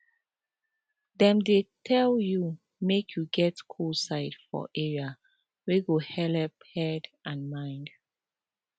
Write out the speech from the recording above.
dem dey tell you make you get cool side for area wey go helep head and mind